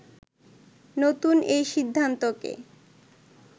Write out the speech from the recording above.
“নতুন এই সিদ্ধান্তকে